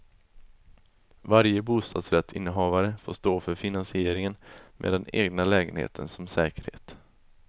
Varje bostadsrättsinnehavare får stå för finansieringen med den egna lägenheten som säkerhet.